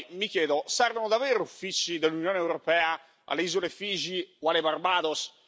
Poi, mi chiedo, servono davvero uffici dell'Unione europea alle isole Fiji o alle Barbados?